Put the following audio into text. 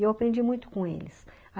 E eu aprendi muito com eles.